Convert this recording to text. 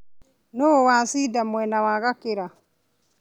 Nũũ wacinda mwena wa Gakĩra